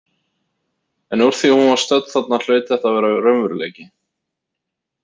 En úr því hún var stödd þarna hlaut þetta að vera raunveruleiki.